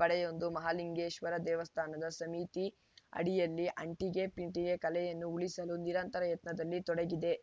ಪಡೆಯೊಂದು ಮಹಾಲಿಂಗೇಶ್ವರ ದೇವಸ್ಥಾನ ಸಮಿತಿ ಅಡಿಯಲ್ಲಿ ಅಂಟಿಗೆ ಪಿಂಟಿಗೆ ಕಲೆಯನ್ನು ಉಳಿಸಲು ನಿರಂತರ ಯತ್ನದಲ್ಲಿ ತೊಡಗಿದೆ